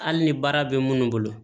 Hali ni baara bɛ munnu bolo